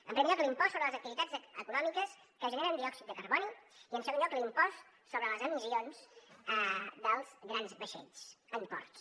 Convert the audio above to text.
en primer lloc l’impost sobre les activitats econòmiques que generen diòxid de carboni i en segon lloc l’impost sobre les emissions dels grans vaixells en ports